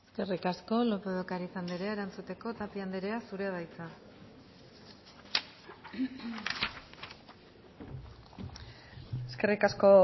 eskerrik asko lópez de ocariz andrea erantzuteko tapia andrea zurea da hitza eskerrik asko